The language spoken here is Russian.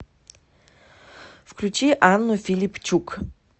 включи анну филипчук